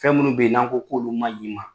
Fɛn minnu bɛ yen n'an ko k'olu ma ɲi i ma,